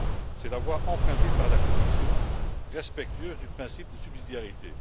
C'est la voie empruntée par la Commission, respectueuse du principe de subsidiarité.